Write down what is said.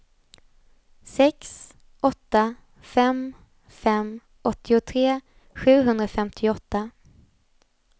sex åtta fem fem åttiotre sjuhundrafemtioåtta